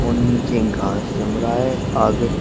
नीचे घास जम रहा है आगे--